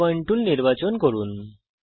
new point tool নির্বাচন করুন